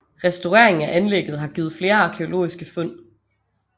Restaureringen af anlægget har givet flere arkæologiske fund